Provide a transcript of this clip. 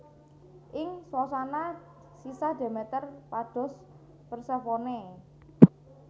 Ing swasana sisah Demeter pados Persefone